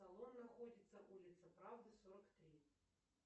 салон находится улица правды сорок три